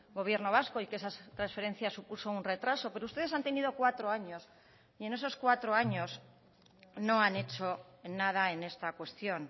gobierno vasco y que esa transferencia supuso un retraso pero ustedes han tenido cuatro años y en esos cuatro años no han hecho nada en esta cuestión